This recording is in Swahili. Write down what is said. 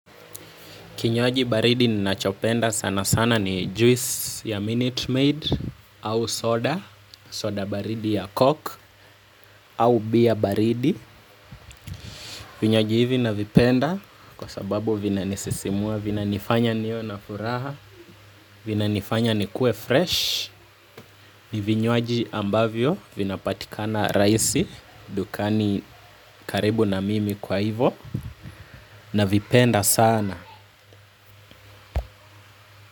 Kinywaji baridi ninachopenda sana sana ni juice ya Minute Maid, au soda, soda baridi ya coke, au beer baridi. Vinywaji hivi navipenda kwa sababu vinanisisimua vinanifanya niwe na furaha, vinanifanya nikue fresh. Ni vinywaji ambavyo, vinapatika na rahisi, dukani karibu na mimi kwa hivo, navipenda sana.